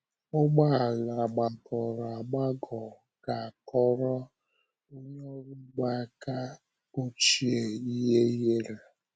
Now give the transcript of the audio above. Ọgba ala gbagọrọ agbagọ ga - akọrọ onye ọrụ ugbo aka ochie ihe ihere.